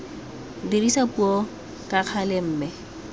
dirisa puo ka gale mme